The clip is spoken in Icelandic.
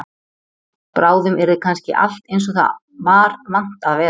Bráðum yrði kannski allt eins og það var vant að vera.